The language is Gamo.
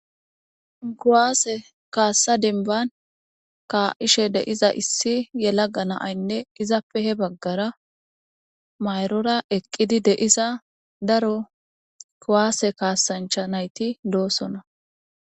kuwasse kaasa demen ka'ishe de'iza Issi yelaga.na'aynne daro mayrro baggarae eqqida kuwasse kasanchatti ekkidayssa beesetees.